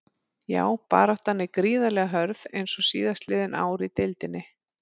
Já baráttan er gríðarlega hörð eins og síðastliðin ár í deildinni.